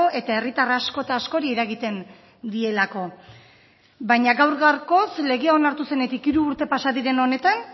eta herritar asko eta askori eragiten dielako baina gaur gaurkoz legea onartu zenetik hiru urte pasa diren honetan